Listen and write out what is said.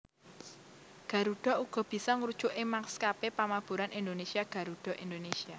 Garuda uga bisa ngrujuk ing maskapé pamaburan Indonésia Garuda Indonésia